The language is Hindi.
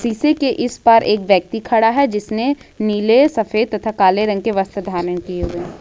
शीशे के इस बार एक व्यक्ति खड़ा है जिसने नीले सफेद तथा काले रंग के वस्त्र धारण किए हुए हैं।